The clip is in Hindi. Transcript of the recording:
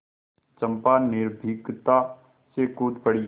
चंपा निर्भीकता से कूद पड़ी